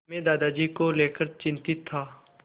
मैं दादाजी को लेकर चिंतित था